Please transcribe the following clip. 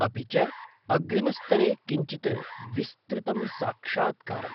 अपि च अग्रिमस्तरे किञ्चित् विस्तृतं साक्षात्कारम्।